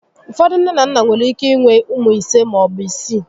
Ụfọdụ nné na nnà nwere ike inwe ụmụ ise maọbụ isii